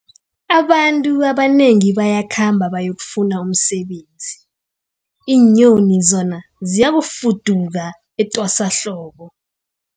Abantu abanengi bayakhamba bayokufuna umsebenzi, iinyoni zona ziyafuduka etwasahlobo.